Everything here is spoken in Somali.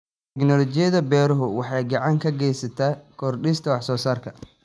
Tignoolajiyada beeruhu waxay gacan ka geysataa kordhinta wax soo saarka.